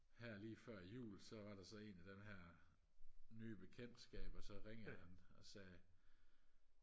her lige før jul så var der så en af den her nye bekendtskaber så ringede han og sagde